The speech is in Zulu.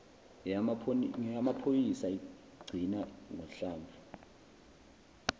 ngeyamaphoyisa igcina ngohlamvu